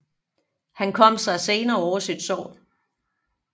Han kom sig senere over sit sår